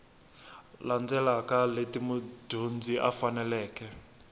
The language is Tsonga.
landzelaka leti mudyondzi a faneleke